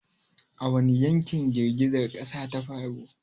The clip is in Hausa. A wani yankin girgizar ƙasar ta faru?